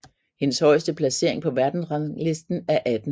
Hendes højeste placering på verdensrangslisten er 18